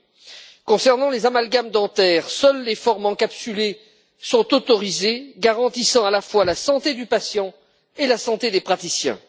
En ce qui concerne les amalgames dentaires, seules les formes encapsulées sont autorisées, garantissant à la fois la santé du patient et la santé des praticiens.